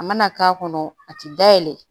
A mana k'a kɔnɔ a tɛ dayɛlɛ